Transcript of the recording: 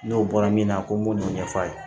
N'o bɔra min na ko n b'o ɲɛf'a ye